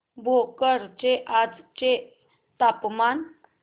भोकर चे आजचे तापमान